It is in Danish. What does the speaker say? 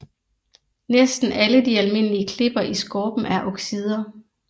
Næsten alle de almindelige klipper i skorpen er oxider